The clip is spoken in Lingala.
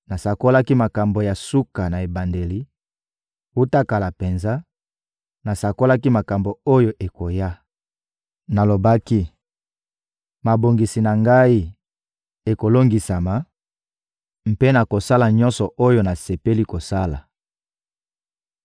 Nasakolaki makambo ya suka na ebandeli; wuta kala penza, nasakolaki makambo oyo ekoya. Nalobaki: «Mabongisi na Ngai ekolongisama, mpe nakosala nyonso oyo nasepeli kosala.»